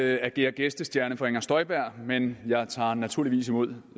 jeg agerer gæstestjerne for fru inger støjberg men jeg tager naturligvis imod